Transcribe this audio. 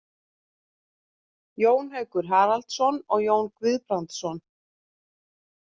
Jón Haukur Haraldsson og Jón Guðbrandsson.